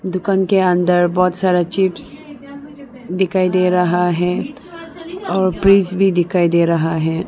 दुकान के अंदर बहोत सारा चिप्स दिखाई दे रहा हैं और फ्रिज भी दिखाई दे रहा है।